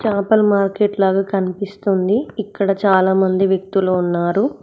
Local market లాగా కనిపిస్తుంది ఇక్కడ చాలామంది వ్యక్తులు ఉన్నారు.